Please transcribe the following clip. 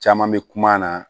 Caman bɛ kuma na